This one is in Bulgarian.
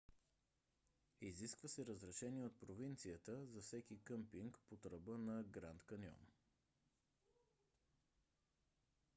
изисква се разрешение от провинцията за всеки къмпинг под ръба на гранд каньон